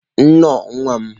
Nnọọ nwa m.